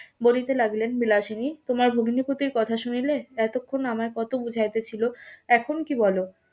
বলিতে লাগিলেন বিলাসিনী তোমার ভগ্নিপতির কথা শুনিলে এতক্ষন আমায় কত বোঝাইতে ছিল এখন কি বলো